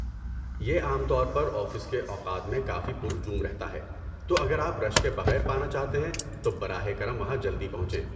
یہ عام طور پر آفس کے اوقات میں کافی پر ہجوم رہتا ہے، تو اگر آپ رش کے بغیر پانا چاہتے ہیں تو براہ کرم وہاں جلدی پہنچیں۔